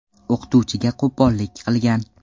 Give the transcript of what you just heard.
o‘qituvchiga qo‘pollik qilgan.